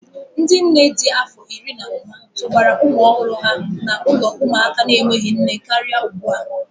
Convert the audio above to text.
Ndị nne dị afọ iri na ụma tụbara ụmụ ọhụrụ ha n'ụlọ ụmụaka na-enweghị nne karịa ugbu a.